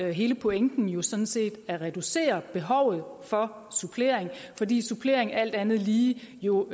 er hele pointen jo sådan set at reducere behovet for supplering fordi supplering alt andet lige jo